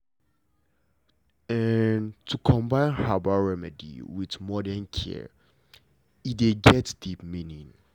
to dey combine herbal remedy with modern care dey get deep meaning